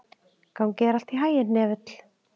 Gangi þér allt í haginn, Hnefill.